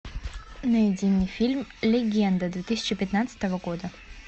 найди мне фильм легенда две тысячи пятнадцатого года